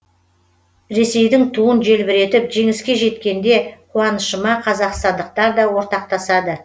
ресейдің туын желбіретіп жеңіске жеткенде қуанышыма қазақстандықтар да ортақтасады